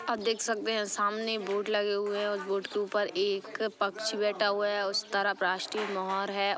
आप देख सकते है सामने बोर्ड लगे हुए है बोर्ड के ऊपर एक पक्षी बैठा हुआ है उस तरफ राष्ट्रीय मोहर है।